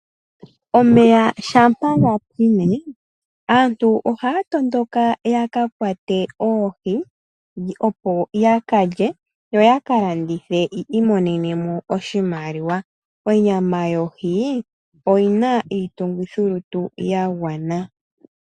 Omeya shampa ga pwine aantu ohaya tondoka yaka kwate oohi opo yaka lye yo yaka landithe yiimonene oshimaliwa. Onyama yohi oyina iitungithi lutu ya gwana.